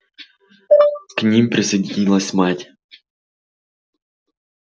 к ним присоединилась мать